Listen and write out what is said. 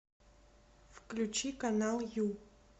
включи канал ю